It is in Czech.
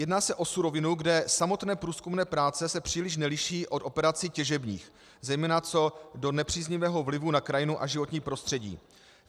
Jedná se o surovinu, kde samotné průzkumné práce se příliš neliší od operací těžebních, zejména co do nepříznivého vlivu na krajinu a životní prostředí.